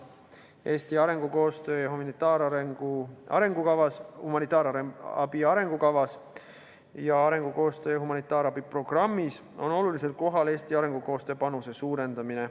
Eesti arengukoostöö ja humanitaarabi arengukavas ning arengukoostöö ja humanitaarabi programmis on olulisel kohal Eesti arengukoostöö panuse suurendamine.